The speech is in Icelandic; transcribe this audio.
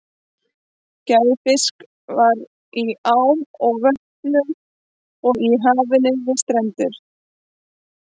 Gnægð fisks var í ám og vötnum og í hafinu við strendurnar.